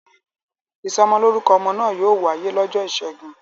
Ìsọmọlórúkọ ọmọ náà yóò wáyé lọ́jọ́ ìṣẹ́gun.